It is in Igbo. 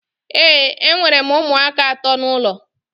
Ee, enwere m ụmụaka ato n'ụlọ